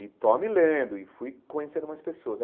E tome lendo e fui conhecendo mais pessoas.